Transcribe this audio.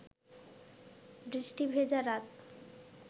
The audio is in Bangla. বৃষ্টি ভেজা রাত